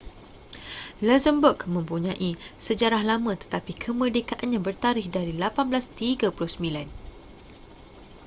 luxembourg mempunyai sejarah lama tetapi kemerdekaannya bertarikh dari 1839